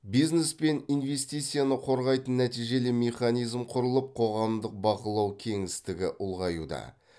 бизнес пен инвестицияны қорғайтын нәтижелі механизм құрылып қоғамдық бақылау кеңістігі ұлғаюда